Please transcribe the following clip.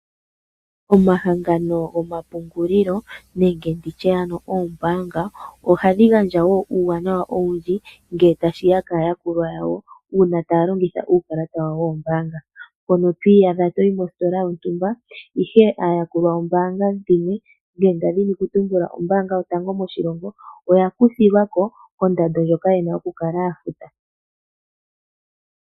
Omahangano gomapungulilo nenge nditye ano oombaanga ohadhi gandja woo uuwanawa owundji ngele tashiya kaayakulwa yawo uuna taya longitha uukalata wawo woombaanga mpono to iyadha toyi mositola yontumba ashike aayakulwa yombaanga ndjino ndadhini ku tumbula ombaanga yo tango moshilongo oyakuthilwa ko kondando ndjoka ye na okukala ya futa.